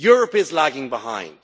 Europe is lagging behind.